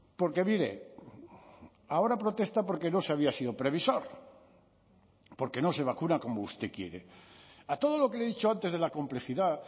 porque mire ahora protesta porque no se había sido previsor porque no se vacuna como usted quiere a todo lo que le he dicho antes de la complejidad